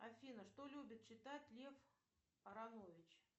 афина что любит читать лев аранович